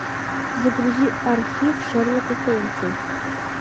загрузи архив шерлока холмса